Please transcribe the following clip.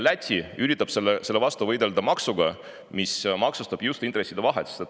Läti üritab selle vastu võidelda maksuga, mis maksustab just intresside vahet.